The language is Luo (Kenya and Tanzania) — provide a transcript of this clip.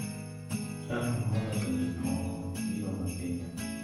Jalo ma oloso gik moko biro mapiyo.